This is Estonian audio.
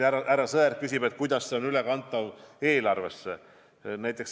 Härra Sõerd küsis, kuidas see on ülekantav eelarvesse.